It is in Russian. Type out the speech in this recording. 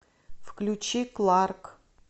включи кларк